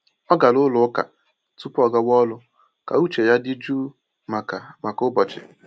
Ọ gara ụlọ ụka tupu ọgawa ọrụ ka uche ya dị jụụ maka maka ụbọchị.